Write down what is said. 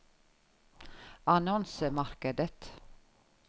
annonsemarkedet